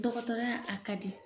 Dɔkɔtɔrɔya a ka di